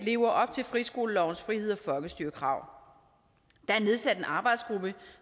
lever op til friskolelovens friheds og folkestyrekrav der er nedsat en arbejdsgruppe